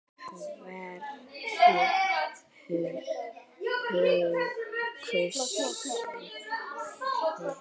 Hverjir kusu þig?